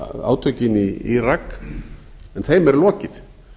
átökin í írak en þeim er lokið